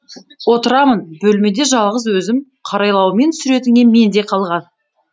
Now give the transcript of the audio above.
отырамын бөлмеде жалғыз өзім қарайлаумен суретіңе менде қалған